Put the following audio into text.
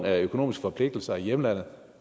økonomiske forpligtelser i hjemlandet